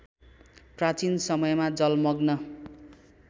प्राचीन समयमा जलमग्न